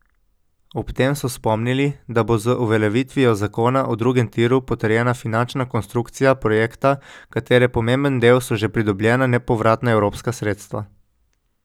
Ob tem so spomnili, da bo z uveljavitvijo zakona o drugem tiru potrjena finančna konstrukcija projekta, katere pomemben del so že pridobljena nepovratna evropska sredstva.